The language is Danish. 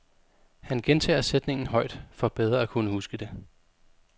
Han gentager sætningen højt, for bedre at kunne huske det.